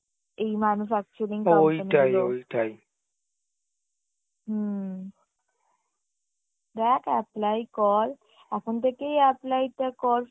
এই manufacturing হম দ্যাখ apply কর এখন থেকেই apply টা কর